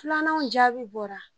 Filananw jaabi bɔra